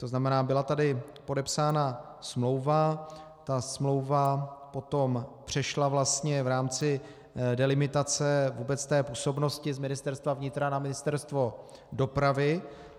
To znamená, byla tady podepsána smlouva, ta smlouva potom přešla vlastně v rámci delimitace vůbec té působnosti z Ministerstva vnitra na Ministerstvo dopravy.